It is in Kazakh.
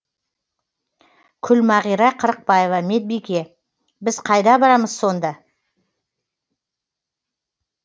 күлмағира қырықбаева медбике біз қайда барамыз сонда